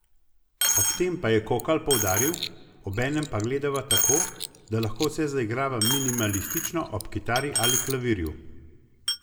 Ob tem pa je Kokalj poudaril: 'Obenem pa gledava tako, da lahko vse zaigrava minimalistično ob kitari ali klavirju.